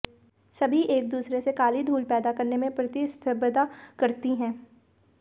सभी एक दूसरे से काली धूल पैदा करने में प्रतिस्पर्धा करती हैं